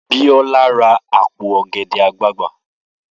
Biola ra àpò ọ̀gẹ̀dẹ̀ àgbagbà